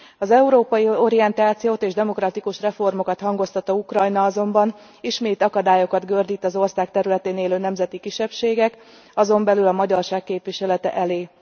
Az európai orientációt és demokratikus reformokat hangoztató Ukrajna azonban ismét akadályokat gördít az ország területén élő nemzeti kisebbségek, azon belül a magyarság képviselete elé.